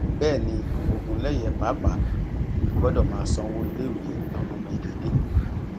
bẹẹ ni ogunléyé pàápàá gbọdọ máa sanwó iléèwé àwọn ọmọ ẹ déédé